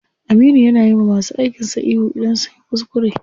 Aminu ya na yiwa masu aikin sa ihu idan sunyi kuskure.